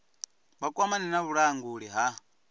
vha kwamane na vhulanguli ha